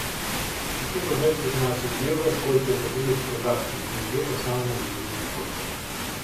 хочу продать пятнадцать евро сколько это будет в казахских тенге по самому выгодному курсу